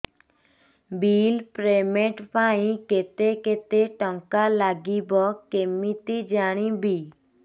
bill payment ପାଇଁ କେତେ କେତେ ଟଙ୍କା ଲାଗିବ କେମିତି ଜାଣିବି